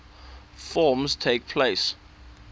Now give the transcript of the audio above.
forms takes place